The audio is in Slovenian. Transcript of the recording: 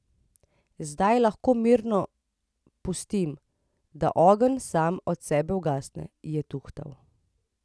Zdaj lahko mirno pustim, da ogenj sam od sebe ugasne, je tuhtal.